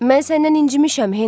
Mən səndən incimişəm, Henri,